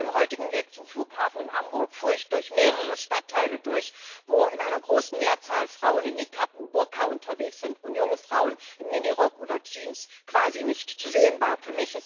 Auf meinem heutigen Weg zum Flughafen in Hamburg fuhr ich durch mehrere Stadtteile, wo in einer großen Mehrzahl Frauen in Nikab und Burka unterwegs sind und junge Frauen im Minirock oder in Jeans quasi nicht zu sehen waren.